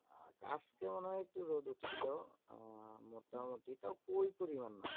আজকে মনে হয় একটু রোদ উঠছিলো। আহ মোটামুটি তাও ওই পরিমান না।